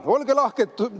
Olge lahked!